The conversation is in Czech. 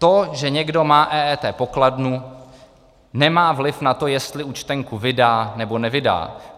To, že někdo má EET pokladnu, nemá vliv na to, jestli účtenku vydá, nebo nevydá.